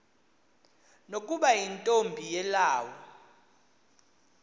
nokuba yintombi yelawu